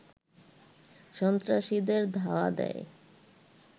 সন্ত্রাসীদের ধাওয়া দেয়